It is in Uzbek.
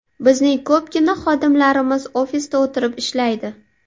Bizning ko‘pgina xodimlarimiz, ofisda o‘tirib ishlaydi.